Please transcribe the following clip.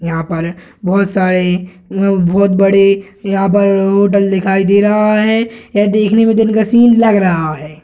यहां पर बहुत सारे बहुत बड़े यहां पर होटल दिखाई दे रहा है यह देखने में दिन का सीन लग रहा है।